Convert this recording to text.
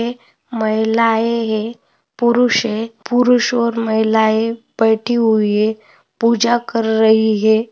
महिलाए है पुरुष है पुरुष और महिलाए बैठी हुई है पूजा कर रही है।